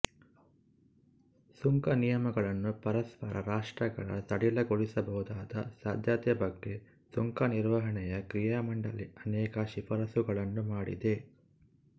ಸುಂಕನಿಯಮಗಳನ್ನು ಪರಸ್ಪರ ರಾಷ್ಟ್ರಗಳ ಸಡಿಲಗೊಳಿಸಬಹುದಾದ ಸಾಧ್ಯತೆ ಬಗ್ಗೆ ಸುಂಕನಿರ್ವಹಣೆಯ ಕ್ರಿಯಾಮಂಡಲಿ ಅನೇಕ ಶಿಫಾರಸ್ಸುಗಳನ್ನು ಮಾಡಿದೆ